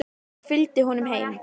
Ég fylgdi honum heim.